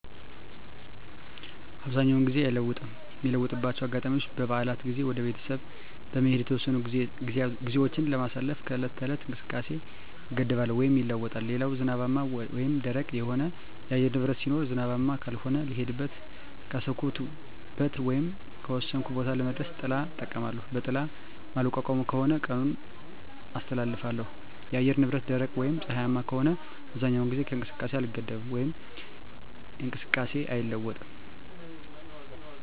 አብዛኛውን ጊዜ አይለወጥም ሚለወጥባቸው አጋጣሚዎች በበዓላት ጊዜ ወደ ቤተሰብ በመሄድ የተወሰኑ ግዜዎች ስለማሳልፍ ከዕለት ተዕለት እንቅስቃሴየ እገደባለው ወይም ይለወጣል ሌላው ዝናባማ ወይም ደረቅ የሆነ የአየር ንብረት ሲኖር ዝናባማ ከሆነ ልሄድበት ካሰብኩት ወይም ከወሰንኩት ቦታ ለመድረስ ጥላ እጠቀማለሁ በጥላ ማልቋቋመው ከሆነ ቀኑን አስተላልፋለሁ የአየር ንብረቱ ደረቅ ወይም ፀሀያማ ከሆነ አብዛኛውን ጊዜ ከእንቅስቃሴ አልገደብም ወይም እንቅስቃሴየ አይለዋወጥም